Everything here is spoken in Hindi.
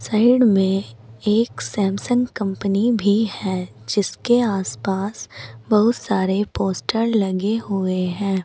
साइड में एक सैमसंग कंपनी भी है जिसके आस पास बहुत सारे पोस्टर लगे हुए हैं।